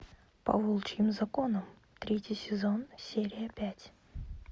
по волчьим законам третий сезон серия пять